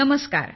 नमस्कार